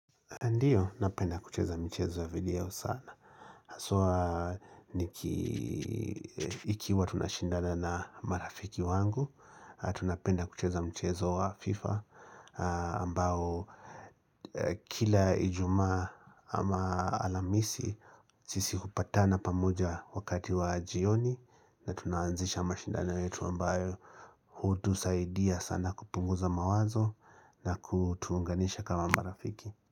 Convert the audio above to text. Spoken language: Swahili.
Ndiyo, napenda kucheza michezo ya video sana. So, nikiwa tunashindana na marafiki wangu, tunapenda kucheza mchezo wa FIFA, ambao kila ijumaa ama alhamisi, sisi hupatana pamoja wakati wa jioni, na tunaanzisha mashindano yetu ambayo, hutusaidia sana kupunguza mawazo, na kutuynganisha kama marafiki.